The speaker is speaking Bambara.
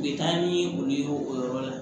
U bɛ taa ni olu ye o yɔrɔ la